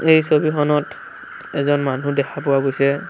এই ছবিখনত এজন মানুহ দেখা পোৱা গৈছে।